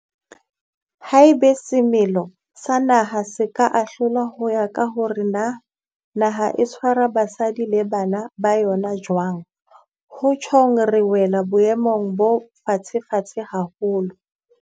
Haeba semelo sa naha se ka ahlolwa ho ya ka hore na naha e tshwara basadi le bana ba yona jwang, ho tjhong re wela boemong bo fatshefatshe haholo.